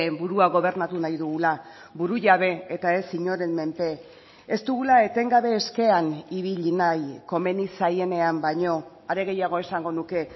burua gobernatu nahi dugula burujabe eta ez inoren menpe ez dugula etengabe eskean ibili nahi komeni zaienean baino are gehiago esango nuke